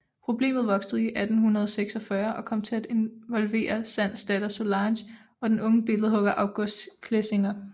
Problemet voksede i 1846 og kom til at involvere Sands datter Solange og den unge billedhugger Auguste Clésinger